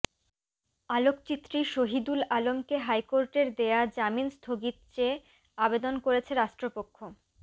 আলোকচিত্রী শহিদুল আলমকে হাইকোর্টের দেয়া জামিন স্থগিত চেয়ে আবেদন করেছে রাষ্ট্রপক্ষ